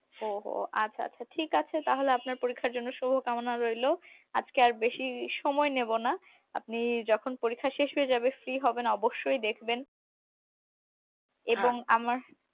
ওহ আচ্ছা আচ্ছা ঠিক আছে তাহলে আপনার পরীক্ষার জন্য শুভকামনা রইল আজকে আর বেশি সময় নেব না আপনি যখন পরীক্ষা শেষ হয়ে যাবে free হবেন অবশ্যই দেখবেন আমার